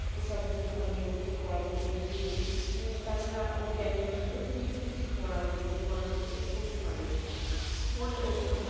তো সবগুলো আমি ওকে পড়াগুলো বুঝিয়ে দিই তা ছাড়া ওকে আমি অতিরিক্ত কিছু পড়াও দিদি যে পড়াগুলো ও পড়তে পারবে। পরলে ওর জন্য ভালো। হবে